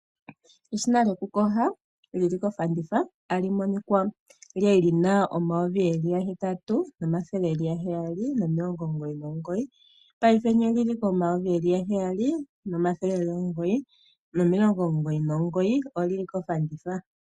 Eshina lyoku kosha tali monika lili kofanditha, kwali lina N$8799, ashike paife olina N$ 7999, olili kofanditha.